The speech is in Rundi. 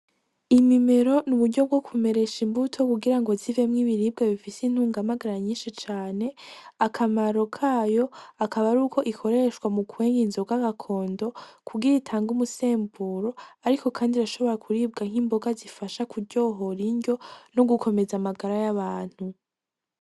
Imimero ni uburyo bwo kumeresha imbuto kugira ngo zivemwo ibiribwe bifise intungamagara nyinshi cane ,akamaro kayo akaba ari uko ikoreshwa mu kwenga inzo g'agakondo kugira itanga umusemburo, ariko, kandi arashobora kuribwa nk'imboga zifasha kuryohora injyo no gukomeza amagara y'abantu.